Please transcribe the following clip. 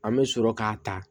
An bɛ sɔrɔ k'a ta